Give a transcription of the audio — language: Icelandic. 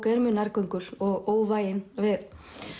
er mjög nærgöngul og óvægin við